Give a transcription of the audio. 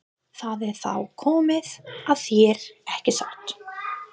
Það er þá komið að þér, ekki satt?